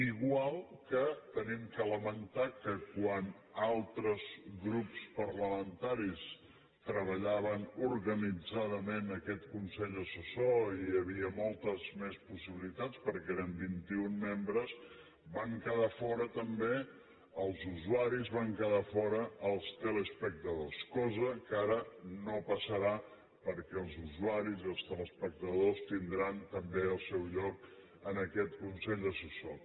igual que hem de lamentar que quan altres grups parlamentaris treballaven organitzadament aquest consell assessor i hi havia moltes més possibilitats perquè eren vint i un membres en van quedar fora també els usuaris en van quedar fora els teleespectadors cosa que ara no passarà perquè els usuaris i els teleespectadors tindran també el seu lloc en aquest consell assessor